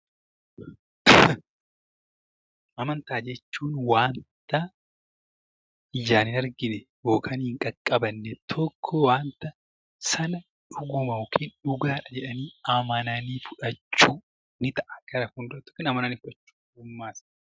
Amantaa jechuun wanta ijaan hin argine yookaan hin qaqqabanne tokko wanta sana dhuguma yookaan dhugaadha jedhanii amananii fudhachuu ni ta'a gara fuulduraatti amanani fudhachu.